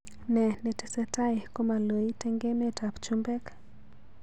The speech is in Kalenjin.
Ne netesetai komaloit eng emetab chumbek